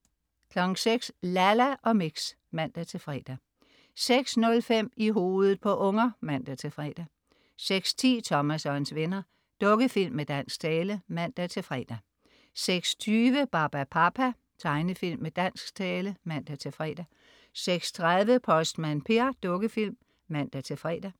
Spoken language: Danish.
06.00 Lalla og Mix (man-fre) 06.05 I hovedet på unger (man-fre) 06.10 Thomas og hans venner. Dukkefilm med dansk tale (man-fre) 06.20 Barbapapa. Tegnefilm med dansk tale (man-fre) 06.30 Postmand Per. Dukkefilm (man-fre)